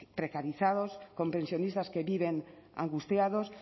precarizados con pensionistas que viven angustiados